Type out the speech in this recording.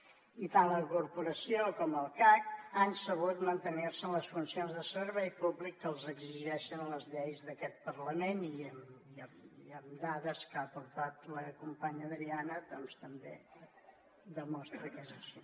i tant la corporació com el cac han sabut mantenir se en les funcions de servei públic que els exigeixen les lleis d’aquest parlament i amb dades que ha portat la companya adriana doncs també es demostra que és així